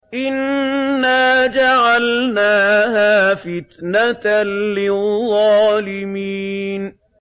إِنَّا جَعَلْنَاهَا فِتْنَةً لِّلظَّالِمِينَ